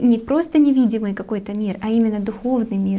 не просто невидимый какой-то мир а именно духовный мир